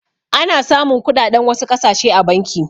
Ana samun kuɗaɗen wasu ƙasashe a banki.